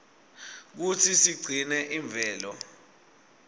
kutsi sigcine imvelo